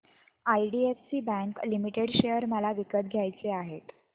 IDFC bank limited share मला विकत घ्यायचे आहेत